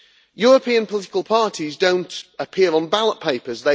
European political parties do not appear on ballot papers